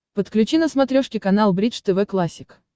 подключи на смотрешке канал бридж тв классик